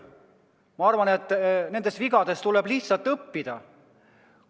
Ma arvan, et nendest vigadest tuleb lihtsalt õppida.